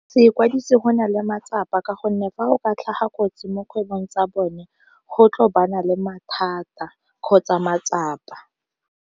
Se ikwadise go na le matsapa ka gonne fa go ka tlhaga kotsi mo kgwebong tsa bone, go tlo le mathata kgotsa matsapa.